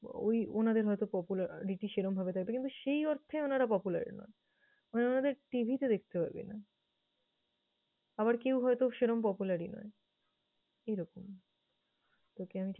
ওই উনাদের হয়তো popularity সেরকমভাবে থাকে কিন্তু সেই অর্থে উনারা popular নন। মানে উনাদের TV তে দেখতে পাবিনা। আবার কেউ হয়তো সেরকম popular ই নয় সেরকম। তোকে আমি ঠিক